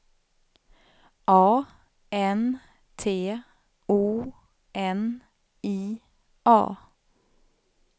A N T O N I A